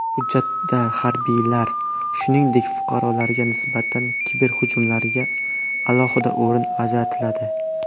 Hujjatda harbiylar, shuningdek fuqarolarga nisbatan kiberhujumlarga alohida o‘rin ajratiladi.